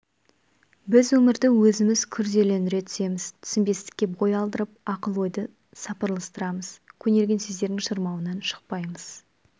біз өмірді өзіміз күрделендіре түсеміз түсінбестікке бой алдырып ақыл-ойды сапырылыстырамыз көнерген сөздердің шырмауынан шықпаймыз